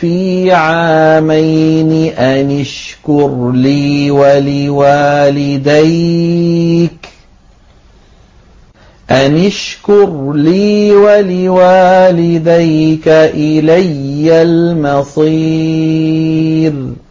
فِي عَامَيْنِ أَنِ اشْكُرْ لِي وَلِوَالِدَيْكَ إِلَيَّ الْمَصِيرُ